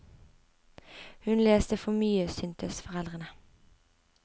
Hun leste for mye, syntes foreldrene.